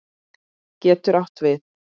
getur átt við